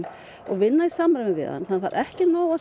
og vinna í samræmi við hann það er ekki nóg að